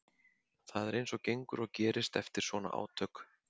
Það er eins og gengur og gerist eftir svona átök.